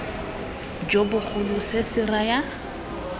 jo bogolo se se raya